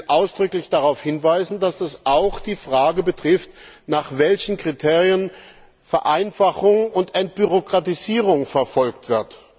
Ich will ausdrücklich darauf hinweisen, dass das auch die Frage betrifft, nach welchen Kriterien Vereinfachung und Entbürokratisierung verfolgt wird.